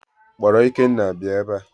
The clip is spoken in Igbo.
Kpọrọ Ikenna bịa ebea!